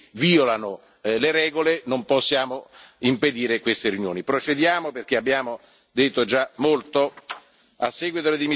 Poi uno può condannare le loro idee, ma quando non ci sono dichiarazioni che violano le regole non possiamo impedire queste riunioni.